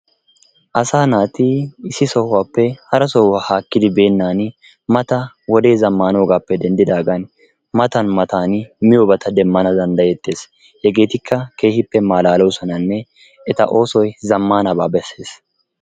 Asaa naati issi sohuwappe hara sohuwa haakiddi beenaan mata wodee zammaanoogappe denddiddagan matan matan miyobata demmana danddayettees. Hegettikka keehippe malaaloosonanne eta oosoy zammanaba bessees